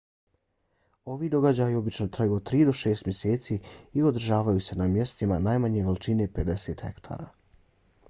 ovi događaji obično traju od tri do šest mjeseci i održavaju se na mjestima najmanje veličine 50 hektara